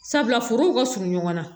Sabula furuw ka surun ɲɔgɔn na